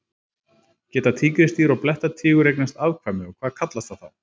Geta tígrisdýr og blettatígur eignast afkvæmi og hvað kallast það þá?